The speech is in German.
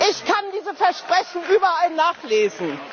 Ich kann diese Versprechen überall nachlesen.